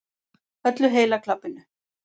Öllu heila klabbinu.